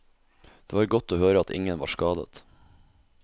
Det var godt å høre at ingen var skadet.